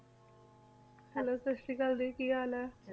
hello ਸਾਸਰੀ ਕਾਲ ਕੀ ਹਾਲ ਆਯ